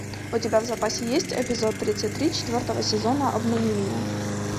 у тебя в запасе есть эпизод тридцать три четвертого сезона обмани меня